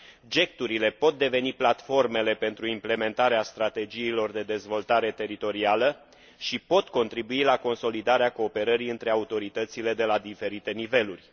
GECT urile pot deveni platformele pentru implementarea strategiilor de dezvoltare teritorială și pot contribui la consolidarea cooperării între autoritățile de la diferite niveluri.